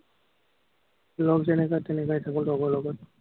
লগ যেনেকুৱা তেনেকুৱাই থাকো, লগৰ লগত।